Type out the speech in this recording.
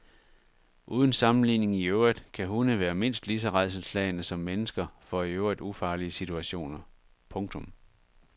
Uden sammenligning i øvrigt kan hunde være mindst lige så rædselsslagne som mennesker for i øvrigt ufarlige situationer. punktum